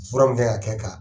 Fura mun kan ka kɛ